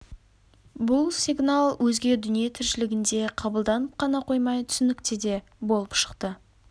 бұл сигнал өзге дүние тіршілігінде қабылданып қана қоймай түсінікті де болып шықты